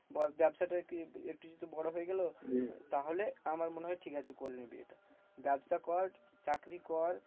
বাবসাটার কি একটু একটু যদি বড় হয়ে গেলো তাহলে আমার মনে হয় ঠিকআছে করে নিবি। ব্যাবসা কর চাকরি কর।